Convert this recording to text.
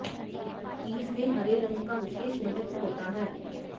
तीज में हरे रंग का विशेष महत्व होता है